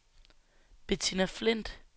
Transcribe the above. Bettina Flindt